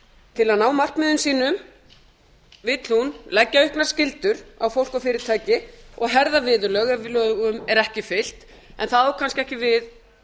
til að ná markmiðum sínum vill hún leggja upp með skyldur á fólk og fyrirtæki og herða viðurlög ef lögum er ekki fylgt en það á kannski ekki við